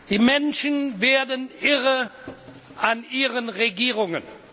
Die Menschen werden irre an ihren Regierungen.